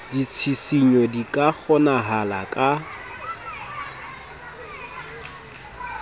ditshisinyo di ka kgonahala ha